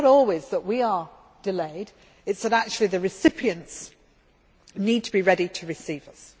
So it is not always that we are delayed, it is that actually the recipients need to be ready to receive